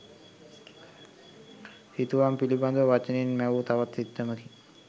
සිතුවම් පිළිඳව වචනයෙන් මැවූ තවත් සිත්තමකි.